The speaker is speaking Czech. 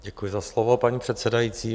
Děkuji za slovo, paní předsedající.